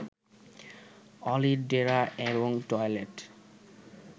অলির ডেরা এবং টয়লেট